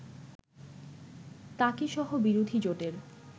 তাকেসহ বিরোধী জোটের